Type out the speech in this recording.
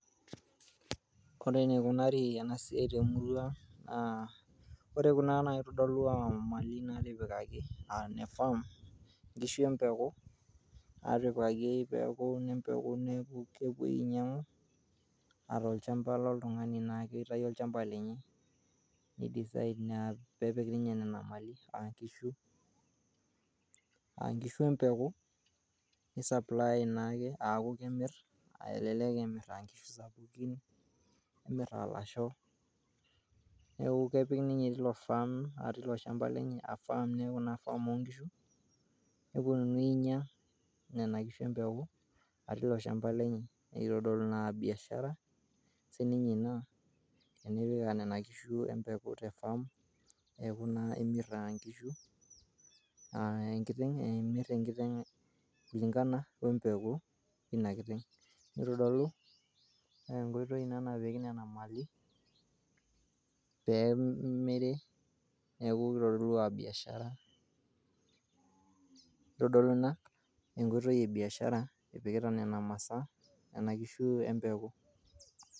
Ore enikunari ena siai temurrua ang naa ore kuna naa kitodolu aa mali natipikaki aa nne farm nkishu empeku , naatipikaki peeku ine mpeku niaku kepuo ainyiangu aa tolchamba loltungani naake oitayio olchamba lenye te design aa kitayio ninye peepik nena mali aa nkishu empeku, ni supply naake aakukemir